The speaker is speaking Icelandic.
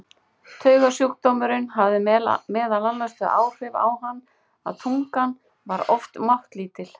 Taugasjúkdómurinn hafði meðal annars þau áhrif á hann að tungan var oft máttlítil.